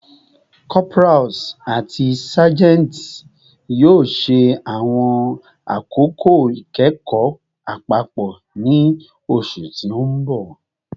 Corporals ati sergeants yoo ṣe awọn akoko ikẹkọ apapọ ni oṣu ti n bọ